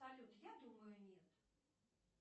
салют я думаю нет